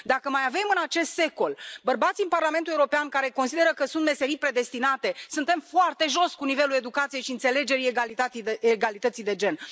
Dacă mai avem, în acest secol, bărbați în Parlamentul European care consideră că sunt meserii predestinate, suntem foarte jos cu nivelul educației și înțelegerii egalității de egalității de gen.